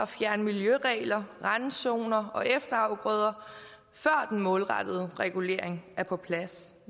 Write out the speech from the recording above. fjerne miljøregler randzoner og efterafgrøder før den målrettede regulering er på plads